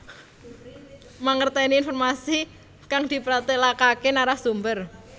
Mangertèni informasi kang dipratélakaké narasumber